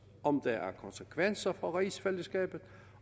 om der er konsekvenser for rigsfællesskabet